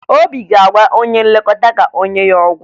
Obi ga-agwa onye nlekọta ka o nye ya ọgwụ